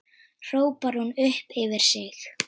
hrópar hún upp yfir sig.